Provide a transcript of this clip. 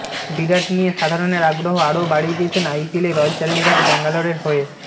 বিরাট নিয়ে সাধারণের আগ্রহ আরও বাড়িয়ে দিয়েছেন আইপিএলে রয়্যাল চ্যালেঞ্জার্স ব্যাঙ্গালোরের হয়ে